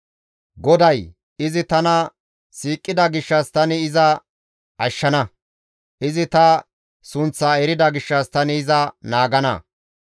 GODAY, «Izi tana siiqida gishshas tani iza ashshana; izi ta sunththa erida gishshas tani iza naagana.